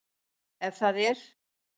Ef það er?